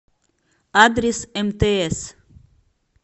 адрес мтс